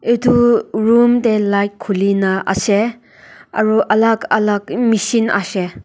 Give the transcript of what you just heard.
edu room tae light khulina ase aru alak alak machine ahshae.